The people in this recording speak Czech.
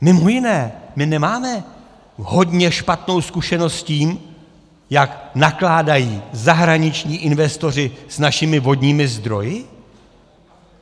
Mimo jiné, my nemáme hodně špatnou zkušenost s tím, jak nakládají zahraniční investoři s našimi vodními zdroji?